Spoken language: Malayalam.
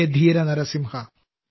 ഹേ ധീര നരസിംഹാ